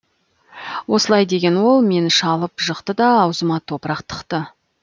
осылай деген ол мені шалып жықты да аузыма топырақ тықты